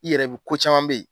I yɛrɛ bɛ ko caman bɛ ye.